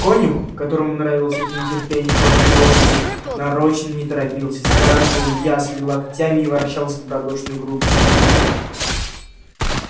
конюх которому нравилось это нетерпение кроткой лошади нарочно не торопился загораживал ясли локтями и ворчал с добродушной грубостью